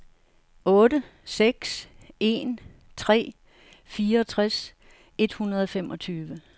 otte seks en tre fireogtres et hundrede og femogtyve